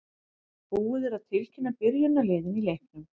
Búið er að tilkynna byrjunarliðin í leiknum.